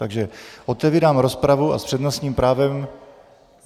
Takže otevírám rozpravu a s přednostním právem...